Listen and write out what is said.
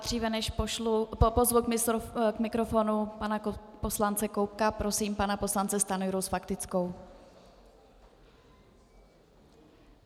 Dříve než pozvu k mikrofonu pana poslance Koubka, prosím pana poslance Stanjuru s faktickou.